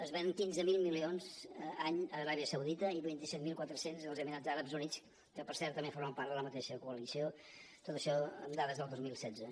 es venen quinze mil milions any a aràbia saudita i vint set mil quatre cents als emirats àrabs units que per cert també formen part de la mateixa coalició tot això amb dades del dos mil setze